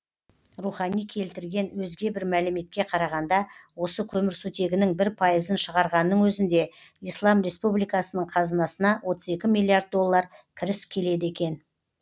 рухани келтірген өзге бір мәліметке қарағанда осы көмірсутегінің бір пайызын шығарғанның өзінде ислам республикасының қазынасына отыз екі миллиард доллар кіріс келеді екен